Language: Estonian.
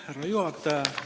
Härra juhataja!